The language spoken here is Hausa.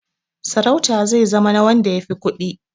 Sarauta zai zama na wanda ya fi kuɗi.